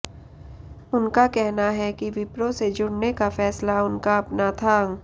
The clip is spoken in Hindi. उनका कहना है कि विप्रो से जुडऩे का फैसला उनका अपना था